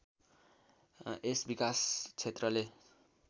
यस विकास क्षेत्रले